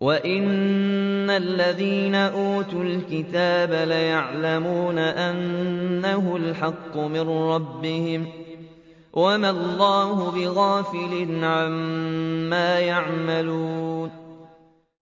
وَإِنَّ الَّذِينَ أُوتُوا الْكِتَابَ لَيَعْلَمُونَ أَنَّهُ الْحَقُّ مِن رَّبِّهِمْ ۗ وَمَا اللَّهُ بِغَافِلٍ عَمَّا يَعْمَلُونَ